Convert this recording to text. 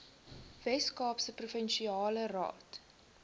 weskaapse provinsiale raad